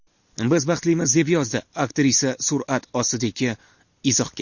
Biz baxtlimiz”, deb yozdi aktrisa surat ostidagi izohga.